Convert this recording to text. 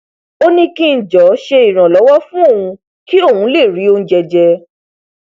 ó ní kí ng jọọ ṣe ìrànlọwọ fún òun kí òun lè rí oúnjẹ jẹ